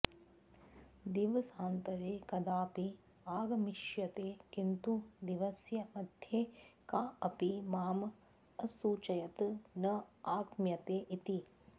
दिवसान्तरे कदापि आगमिष्यते किन्तु दिवसस्य मध्ये काऽपि माम् असूचयत् न आगम्यते इति